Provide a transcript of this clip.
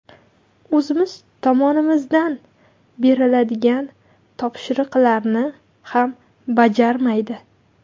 O‘zimiz tomonimizdan beriladigan topshiriqlarni ham bajarmaydi.